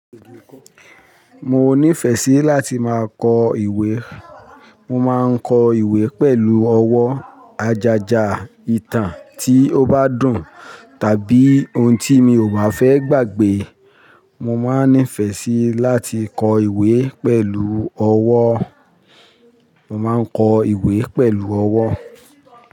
Mo nífẹ̀ẹ́ sí láti máa kọ ìwé. Mo máa ń kọ ìwé pẹ̀lú ọwọ́. Àjàjà ìtàn tí ó bá dùn tàbí ohun tí mi ò bá fẹ́ gbàgbé. Mo máa ń nífẹ̀ẹ́ sí láti kọ ìwé pẹ̀lú ọwọ́. Mo máa ń kọ ìwé pẹ̀lú ọwọ́.